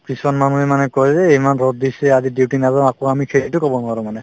কিছুমান মানুহে মানে কই যে ইমান ৰদ দিছে আজি duty নাযাওঁ আকৌ আমি সেইটো কব নোৱাৰো মানে